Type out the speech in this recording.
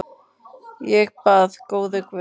Ég bað: Góði Guð.